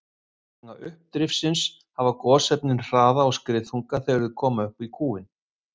Vegna uppdrifsins hafa gosefnin hraða og skriðþunga þegar þau koma upp í kúfinn.